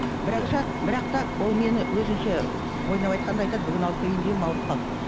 бірақ та ол мені өзінше ойнап айқанда айтады бүгін алып келейін дегенмін ауырып қалды